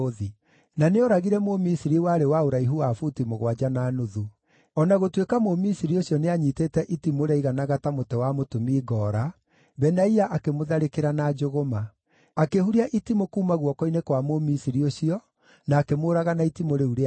Na nĩooragire Mũmisiri warĩ wa ũraihu wa buti mũgwanja na nuthu. O na gũtuĩka Mũmisiri ũcio nĩanyiitĩte itimũ rĩaiganaga ta mũtĩ wa mũtumi ngoora, Benaia akĩmũtharĩkĩra na njũgũma. Akĩhuria itimũ kuuma guoko-inĩ kwa Mũmisiri ũcio, na akĩmũũraga na itimũ rĩu rĩake.